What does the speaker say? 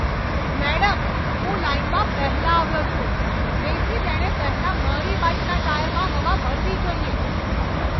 Madam, હું લાઈનમાં પહેલા આવ્યો છું, તેથી તેણે પહેલા મારી બાઇકના ટાયરમાં હવા ભરવી જોઈએ.